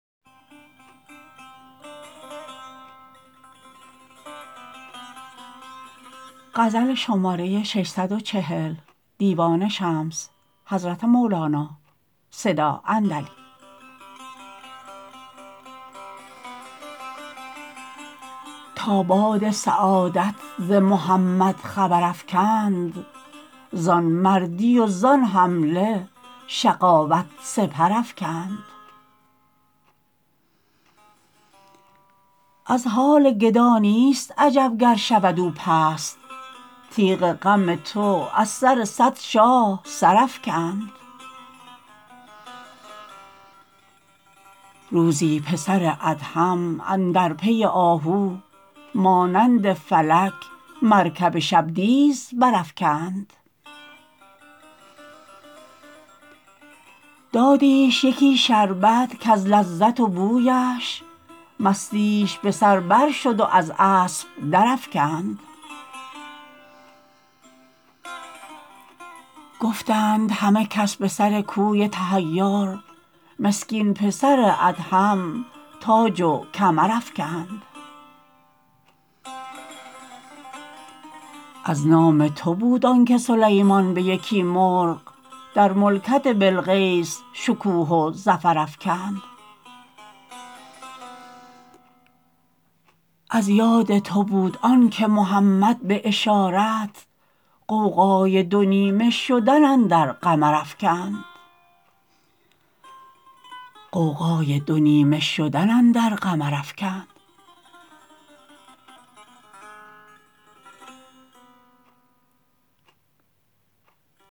تا باد سعادت ز محمد خبر افکند زان مردی و زان حمله شقاوت سپر افکند از حال گدا نیست عجب گر شود او پست تیغ غم تو از سر صد شاه سر افکند روزی پسر ادهم اندر پی آهو مانند فلک مرکب شبدیز برافکند دادیش یکی شربت کز لذت و بویش مستیش به سر برشد و از اسب درافکند گفتند همه کس به سر کوی تحیر مسکین پسر ادهم تاج و کمر افکند از نام تو بود آنک سلیمان به یکی مرغ در ملکت بلقیس شکوه و ظفر افکند از یاد تو بود آنک محمد به اشارت غوغای دو نیمه شدن اندر قمر افکند